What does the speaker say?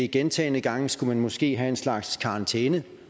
gentagne gange skulle man måske have en slags karantæneordning